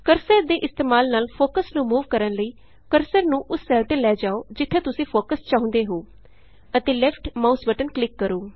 cursor ਦੇ ਇਸਤੇਮਾਲ ਨਾਲ ਫੋਕਸ ਨੂੰ ਮੂਵ ਕਰਨ ਲਈ ਕਰਸਰ ਨੂੰ ਉਸ ਸੈੱਲ ਤੇ ਲੈ ਜਾਉ ਜਿਥੇ ਤੁਸੀਂ ਫੋਕਸ ਚਾਹੁੰਦੇ ਹੋ ਅਤੇ ਲੈਫਟ ਮਾਉਸ ਬਟਨ ਕਲਿਕ ਕਰੋ